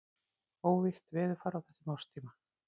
Óvisst veðurfar á þessum árstíma.